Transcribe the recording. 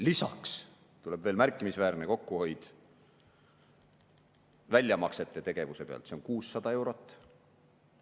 Lisaks tuleb veel märkimisväärne kokkuhoid väljamaksete pealt, see on 600 eurot.